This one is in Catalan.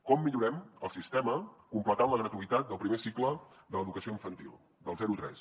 com millorem el sistema completant la gratuïtat del primer cicle de l’educació infantil del zero tres